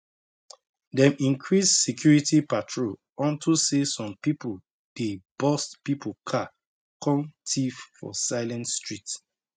dem increase security patrol unto say some people dey burst people car kon thief for silent street